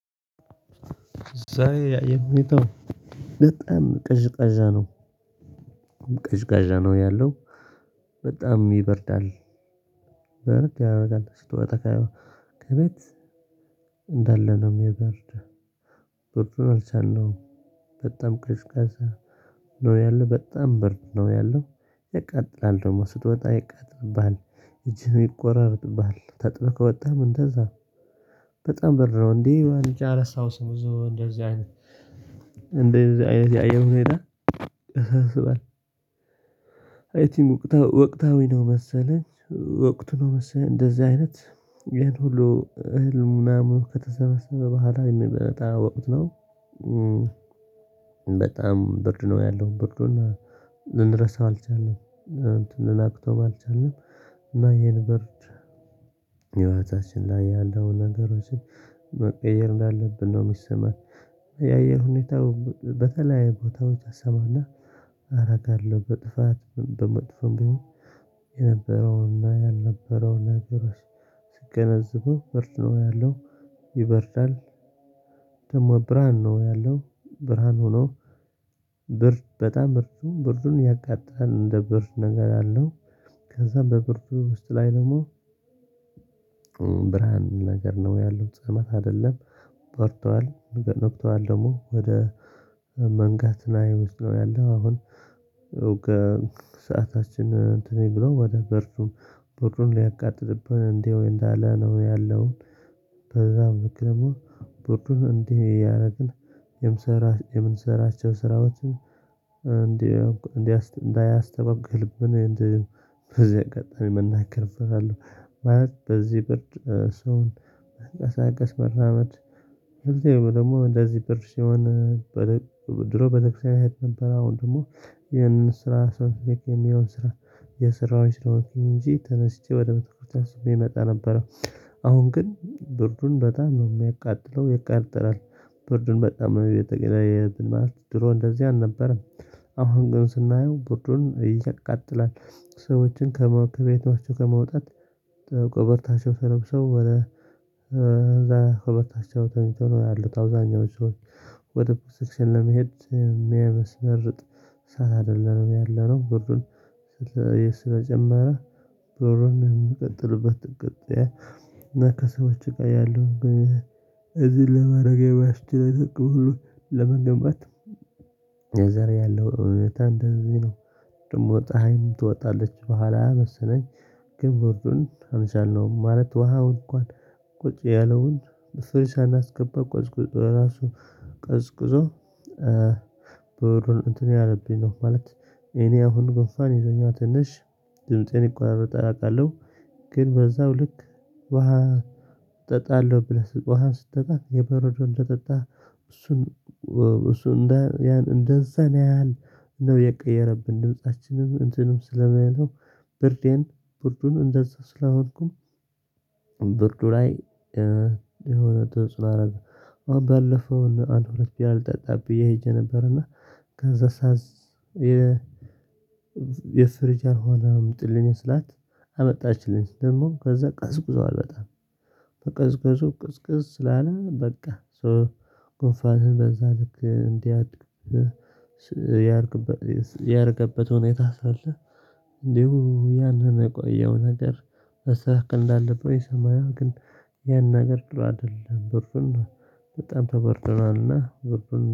ዛሬ የአየር ሁኔታው በጣም ቀዥቃዣ ነው። ቀዥቃዣ ነው ያለው በጣም ይበርዳል። ማለት ያው በቃ አጠቃይ ከቤት እንዳለ ነው የሚበርድ ብርዱን አልቻልነውም። በጣም ቀዥቃዣ ነው ያለ በጣም ብርድ ነው ያለው። ያቃጥላል ደግሞ ስትወጣ ያቃጥልብሃል እጅህን ይቆራረጥሃብል ተጥብቆ ወጣህ እንደዛ። በጣም ብርድ ነው እንዲህ ዋንጫ አላስታውስም ብዙ እንደዚህ አይነት እንደዚህ አይነት ያየር ሁኔታ ያሳስባል። ወቅታዊ ነው መሰለኝ ወቅቱ ነው መሰለኝ እንደዚህ አይነት ይሄን ሁሉ እህል ምናምን ከተሰበሰበ በኋላ የሚመጣ ወቅት ነው። በጣም ብርድ ነው ያለው ብርዱን ልንረሳው አልቻልንም እንትን ልናቅተው ባልቻልንም እና ይሄን ብርድ። ህይወታችን ላይ ያለውን ነገሮችን መቀየር እንዳለብን ነው የሚሰማኝ። የአየር ሁኔታው በተለያየ ቦታዎች አሰማና አረጋለሁ በጥፋት በመጥፎም ቢሆን የነበረውና ያልነበረው ነገሮች ሲገነዘቡ ብርድ ነው ያለው ይበርዳል። ደግሞ ብርሃን ነው ያለው ብርሃን ሆኖ ብርድ በጣም ብርዱ ብርዱም ያቃጥላል እንደ ብርድ ነገር አለው። ከዛ በብርዱ ውስጥ ላይ ደግሞ ብርሃን ነገር ነው ያለው ጸማህ አይደለም። በርዷል በበርዷል ደግሞ ወደ መንጋትና ይመስለው ያለው አሁን። ከሰዓታችን እንትን ብሎ ወደ ብርዱ ብርዱም ሊያቃጥልብን እንደው እንዳለ ነው ያለውን። በዛም ልክ ደግሞ ብርዱን እንዲህ እያደረግን የምንሰራቸውን ስራዎችን እንዲህ እንዳያ እንዳያስተጓጎልብን እንደዚህ በዚህ አጋጣሚ መናገር እፈራለሁ። ማለት በዚህ ብርድ ሰውን መንቀሳቀስ መራመድ ወይም ደግሞ እንደዚህ ብርድ ሲሆን። ድሮ ቤተክርስቲያን እሄድ ነበር አሁን ደግሞ ይሄንን ስራ ሰው የሚገኘውን ስራ እየሰራውኝ ስለሆነ እንጂ ተነስቼ ወደ ቤተክርስቲያን ስሜ እመጣ ነበረ። አሁን ግን ብርዱን በጣም ነው የሚያቃጥለው ይቃጠላል። ብርዱን በጣም ቤተኬላይ ማለት የትምህርት ድሮ እንደዚህ አልነበረም። አሁን ግን ስናየው ብርዱን ይቃጥላል ሰዎችን ከመካከል ቤታቸው ከመውጣት ተለብሰው ወደ ከቤታቻው ተኝተው ነው ያሉት አብዛኛዎቹ ወደ ቤተክርስቲያን ለመሄድ የሚያመስርጥ ሰዓት አይደለም ያለነው ብርዱ። ስለጀመረ ከጎን የሚቀጥሉበት ጉዳይ እና ከሰዎች ጋር ያለው እዚህ ለመረገብ ያስችላል ሁሉ ለመገንባት የዛሬ ያለው እውነታ እንደዚህ ነው። ደግሞ ፀሀይም ትወጣለች በኋላ መሰለኝ ግን ብርዱን አልቻልነውም ማለት ውሃው እንኳን ቁጭ ያለውን ፍሪጅ ሳናገባ ቀዝቅዞ ራሱ ቀዝቅዞ ብርዱን እንትን ያለብኝ ነው ማለት። እኔ አሁን ጉንፋን ይዞኛል ትንሽ ድምፄም ይቆራረጣል አውቃለሁ። ግን በዛው ልክ ውሃ እጠጣለሁ ብለህ ውሃን ስትጠጣ የበረዶ እንደጠጣህ እሱን እሱን እንዳን ያን እሱ እንደዛን ያህል ነው የቀየረብን ድምፃችንም እንትኑም ስለሚለው። ብርዴን ብርዱን እንደዛ ስለሆንኩም ብርዱ ላይ የሆነ ድምጽ ማድርግ አሁን ባለፈው አንድ ሁለት ያህል ቢራ ልጠጣ ብዬ ሄጄ ነበርና። ከዛ ሳዝ የ የፍሪጅ ያልሆነ አምጭልኝ ስላት አመጣችልኝ ደግሞም ከዛ ቀስቅሷል በጣም። መቀዝቀዙ ቅዝቅዝ ስላለ በቃ ሶ ጉንፋንህም በዛ ልክ እንዲህ ያረገበት ሁኔታ ሳለ እንዲሁ ያንን የቆየው ነገር መስተካከል እንዳለብን ይሰማኛል። ግን ያን ነገር ጥሩ አይደለም ብርዱም በጣም ተበርዶናልና ብርዱም